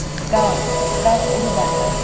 Qalx, qalx ulu bayraq.